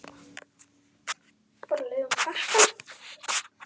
Elsku Björg.